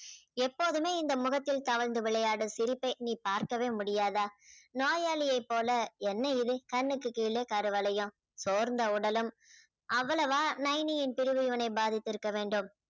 எப்போதுமே இந்த முகத்தில் தவழ்ந்து விளையாடும் சிரிப்பை இனி பார்க்கவே முடியாதா நோயாளியைப் போல என்ன இது கண்ணுக்குக் கீழே கருவளையம் சோர்ந்த உடலும் அவ்வளவா நைனியின் பிரிவு இவனை பாதித்திருக்க வேண்டும்